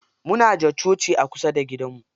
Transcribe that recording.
Muna da coci a kusa da gidanmu.